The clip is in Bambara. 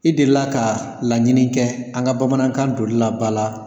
I delila ka laɲini kɛ an ka bamanankan donli la ba la ?